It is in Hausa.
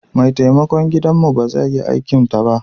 Mai taimakon gidanmu ba zai yi aikinta ba.